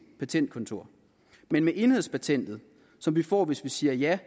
patentkontor men med enhedspatentet som vi får hvis vi siger ja